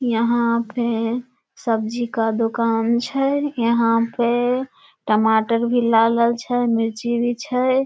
यहां पे सब्जी का दुकान छै यहां पे टमाटर भी लाल-लाल छय मिर्ची भी छय।